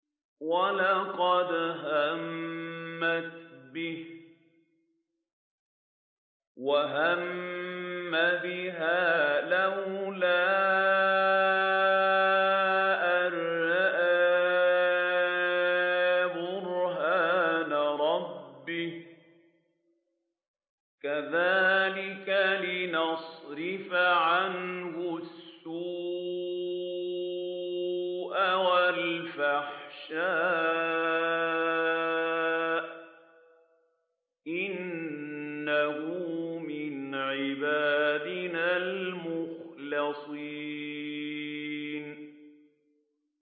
وَلَقَدْ هَمَّتْ بِهِ ۖ وَهَمَّ بِهَا لَوْلَا أَن رَّأَىٰ بُرْهَانَ رَبِّهِ ۚ كَذَٰلِكَ لِنَصْرِفَ عَنْهُ السُّوءَ وَالْفَحْشَاءَ ۚ إِنَّهُ مِنْ عِبَادِنَا الْمُخْلَصِينَ